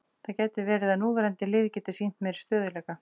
Það gæti verið að núverandi lið geti sýnt meiri stöðugleika.